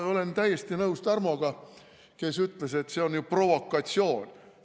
Ma olen täiesti nõus Tarmoga, kes ütles, et see on provokatsioon.